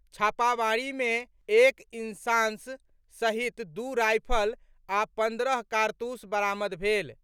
छापामारी मे एक इंसास सहित दू रायफल आ पंद्रह कारतूस बरामद भेल।